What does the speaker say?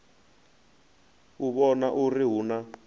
u vhona uri hu na